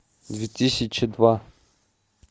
две тысячи два